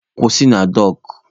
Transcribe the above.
Kwụsị na dọọkụ!